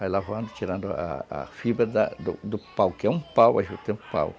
Vai lavando, tirando a a fibra do pau, que é um pau, a juta é um pau.